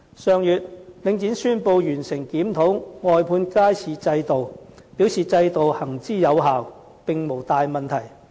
上月，領展宣布完成檢討外判街市制度，表示制度行之有效，並無大問題。